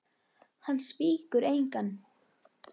Hann svíkur engan.